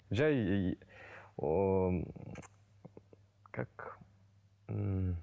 жай ыыы ооо как ммм